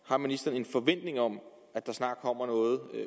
har ministeren en forventning om at der snart kommer noget